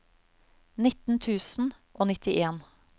nitten tusen og nittien